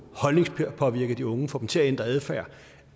holdningspåvirket de unge og få dem til at ændre adfærd